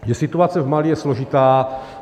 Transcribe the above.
Situace v Mali je složitá.